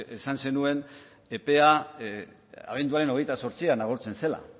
esan zenuen epea abenduaren hogeita zortzian agortzen zela